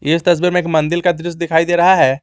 इस तस्वीर में एक मंदिर का दृश्य दिखाई दे रहा है।